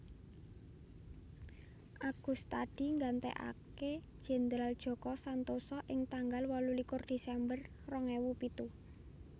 Agustadi nggantèkaké Jendral Djoko Santoso ing tanggal wolulikur Desember rong ewu pitu